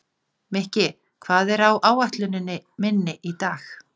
Mikki, hvað er á áætluninni minni í dag?